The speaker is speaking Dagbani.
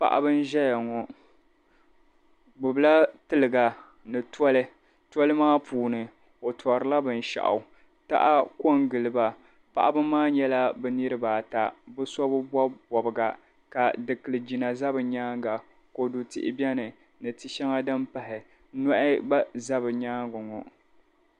Paɣiba zaya ŋɔ bɛ gbibila tiliga ni toli. Toli maa puuni o tɔrila binshɛɣu. Taha kɔŋgili ba. Paɣiba maa nyɛla bɛ niriba ata bɛ so bi bɔbi bɔbiga ka dikiligina za bɛ nyaaŋga kɔdu tihi beni ni ti' shɛŋa din pahi. Nɔhi gba za bɛ nyaaŋga ŋɔ.